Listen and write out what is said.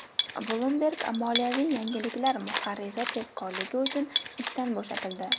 Bloomberg moliyaviy yangiliklar muharriri tezkorligi uchun ishdan bo‘shatildi.